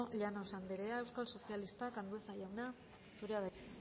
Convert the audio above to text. llanos anderea euskal sozialistak andueza jauna zurea da hitza